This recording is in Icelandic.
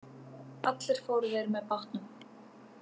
Allir fóru þeir með bátnum.